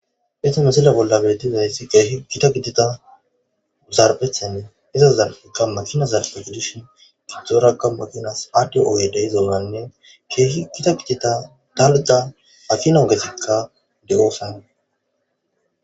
Hayssa missile bolla bettizaysi kehi giita giddida zaarphe iiza zarpheykka maakina zarphe giididhin giidoraka maakinas adhdhiyo oggey deiiza maalane kehi giitta giidida daarota maakina oggetika deossona.